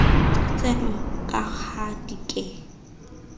tseno ka ha di ke